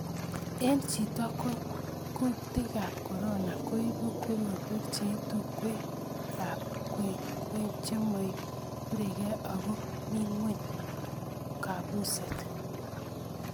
Eng chito ko kutikab korona koibu korotwek chei tungwekab kwekeny chemoiborukei ako mi ngweny kobuset